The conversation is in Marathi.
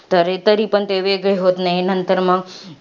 तरीपण ते वेगळे होत नाहीत. नंतर मंग,